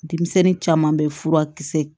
Denmisɛnnin caman bɛ furakisɛ